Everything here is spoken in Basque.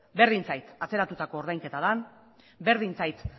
berdin zait atzeratutako ordainketa den berdin zait